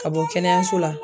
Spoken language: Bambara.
Ka bɔ kɛnɛyaso la